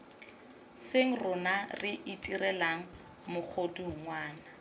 seng rona re itirelang megodungwana